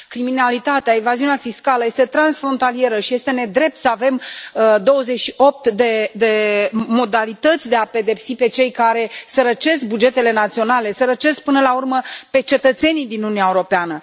Criminalitatea, evaziunea fiscală este transfrontalieră și este nedrept să avem 28 de modalități de a i pedepsi pe cei care sărăcesc bugetele naționale, îi sărăcesc, până la urmă, pe cetățenii din Uniunea Europeană.